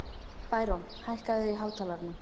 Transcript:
Bæron, hækkaðu í hátalaranum.